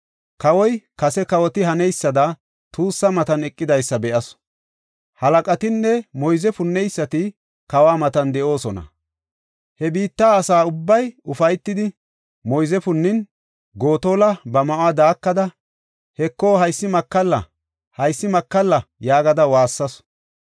Kawoy kase kawoti haneysada tuussa matan eqidysa be7asu. Halaqatinne moyze punneysati kawa matan de7oosona. He biitta asa ubbay ufaytidi, moyze punnin, Gotola ba ma7uwa daakada, “Heko, haysi makalla! Haysi makalla!” yaagada waassasu.